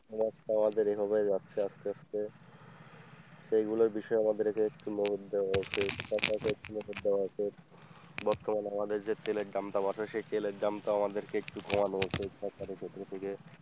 এবার তো আমাদের এভাবেই যাচ্ছে আস্তে আস্তে সেগুলোর বিষয়ে আমাদেরকে বর্তমান আমাদের যে তেলের দামটা বাড়ছে সেই তেলের দামটা আমাদেরকে একটু কমানো উচিত সরকারের পক্ষ থেকে।